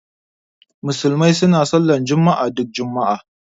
Musulmai suna sallar juma'a duk juma'a